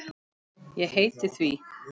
Ég heiti því.